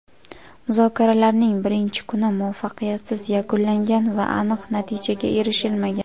muzokaralarning birinchi kuni muvaffaqiyatsiz yakunlangan va aniq natijaga erishilmagan.